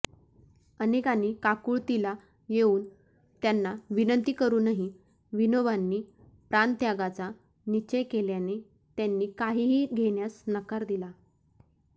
अनेकांनी काकुळतीला येऊन त्यांना विनंती करूनही विनोबांनी प्राणत्यागाचा निश्चय केल्याने त्यांनी काहीही घेण्यास नकार दिला